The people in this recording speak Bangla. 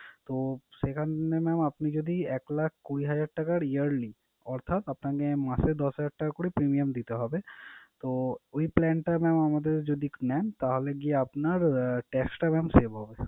তো সেখানে mam আপনি যদি এক লাখ কুড়ি হাজার টাকার yearly অর্থাৎ আপনাকে মাসে দশ হাজার টাকা করে premium দিতে হবে। তো ওই plan টা mam আমাদের যদি নেন তাহলে গিয়ে আপনার আহ tax টা mam save হবে।